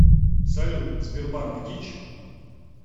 салют сбербанк дичь